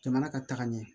Jamana ka taga ɲɛ